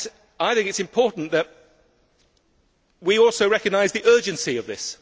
I think it is important that we also recognise the urgency of this.